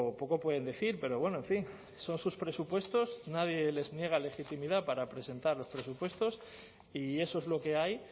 poco pueden decir pero bueno en fin son sus presupuestos nadie les niega legitimidad para presentar los presupuestos y eso es lo que hay